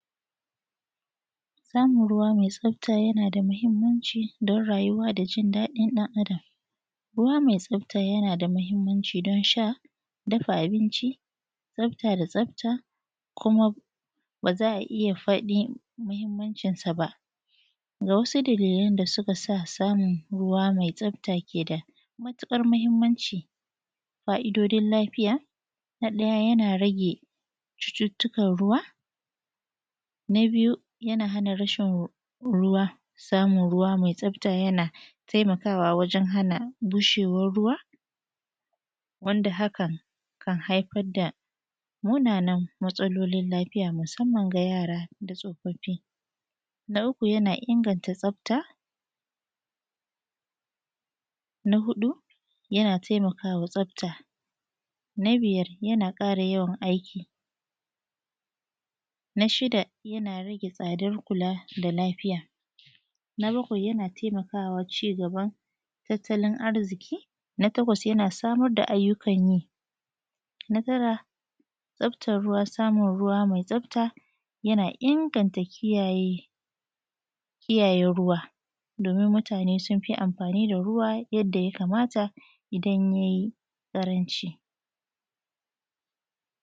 samun ruwa mai tsafta yana da muhimmanci don rayuwa da jin da din dan Adam ruwa mai tsafta yana da mahimmanci don sha dafa abinc i tsafta da tsafta kuma ba za a ija fadin mahimmancinsa ba ga wasu dalilan da suka sa samun ruwa mai tsafta ke da matukar mahimmanci fa’idodin lafiya na daya yana rage cututtukan ruwa na biyu yana hana rashin ruwa samun ruwa mai tsafta yana taimakawa wajan hana bushewar ruwa wanda haka kan haifar da munanan matsalolin lafiya musamman ga yara da tsofaffi na uku yana inganta tsafta na hudu yana taimakawa tsafta na bijar yana kara yawan aiki na shida jana rage tsadar kula da lafiya na bakwai yana taimakawa cigaban tattalin arziki na takwas yana samar da ayyukan yi na tara tsaftan ruwa samun ruwa mai tsafta yana inganta kiyaye kiyaye ruwa domin mutane sun fi amfani da ruwa yadda ya kamata idan yai karanci